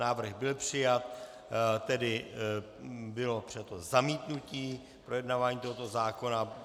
Návrh byl přijat, tedy bylo přijato zamítnutí projednávání tohoto zákona.